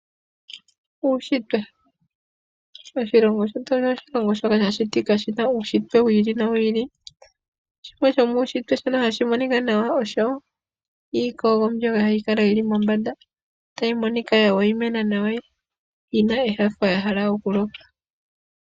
Uunshitwe, oshilongo shetu osho oshilongo shoka sha shitika shi na uunshitwe wi ili nowi ili, shimwe shomuunshitwe shoka hashi monika nawa osho iikogo mbyoka hayi kala yi li mombanda tayi monika yi na enyanyu ya hala okuloka.